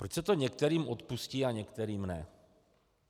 Proč se to některým odpustí a některým ne?